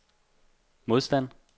modstand